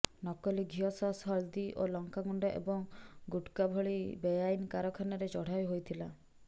ନକଲି ଘିଅ ସସ୍ ହଳଦୀ ଓ ଲଙ୍କା ଗୁଣ୍ଡ ଏବଂ ଗୁଟ୍କା ଭଳି ବେଆଇନ୍ କାରଖାନାରେ ଚଢାଉ ହୋଇଥିଲା